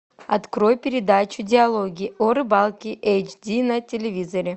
открой передачу диалоги о рыбалке эйч ди на телевизоре